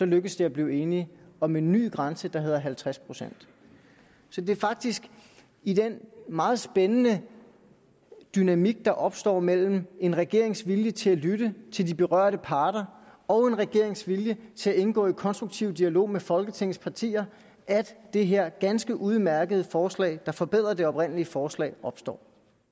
lykkedes det at blive enige om en ny grænse på halvtreds procent så det er faktisk i den meget spændende dynamik der opstår mellem en regerings vilje til at lytte til de berørte parter og en regerings vilje til at indgå i konstruktiv dialog med folketingets partier at det her ganske udmærkede forslag der forbedrer det oprindelige forslag opstår